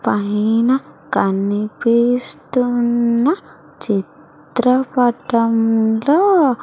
పైన కనిపిస్తున్న చిత్రపటంలో--